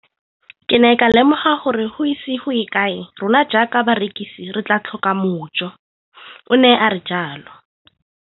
Ke ne ka lemoga gore go ise go ye kae rona jaaka barekise re tla tlhoka mojo, o ne a re jalo.